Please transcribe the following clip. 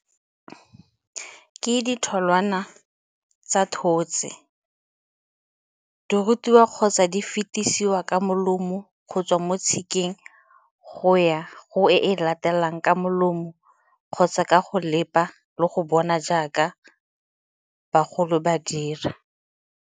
Ke ditholwana tsa thotse, tse di rutiwa kgotsa di fetisiwa ka molomo go tswa mo tshikeng go ya go e e latelang ka molomo kgotsa ka go leba le go bona jaaka bagolo ba dira.